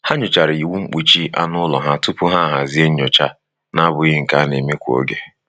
Ha nyochara iwu mkpuchi anụ ụlọ ha tupu ha hazie nyocha na-abụghị nke a na-eme kwa oge.